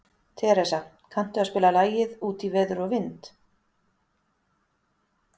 Teresa, kanntu að spila lagið „Út í veður og vind“?